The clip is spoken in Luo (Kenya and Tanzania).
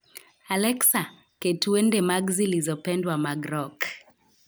Alexa, ket wende mag zilizopendwa mag rock